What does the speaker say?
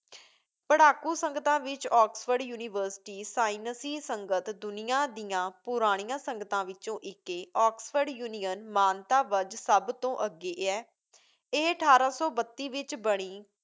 ਪੜ੍ਹਾਕੂ ਸੰਗਤਾਂ ਵਿੱਚ Oxford university ਸਾਈਨਸੀ ਸੰਗਤ ਦੁਨੀਆ ਦੀਆਂ ਪੁਰਾਣੀਆਂ ਸੰਗਤਾਂ ਵਿਚੋਂ ਇੱਕ ਏ। ਆਕਸਫ਼ੋਰਡ union ਮਾਨਤਾ ਵੱਜ ਸਭ ਤੋਂ ਅੱਗੇ ਏ ਇਹ ਅਠਾਰਾਂ ਸੌ ਬੱਤੀ ਵਿੱਚ ਬਣੀ,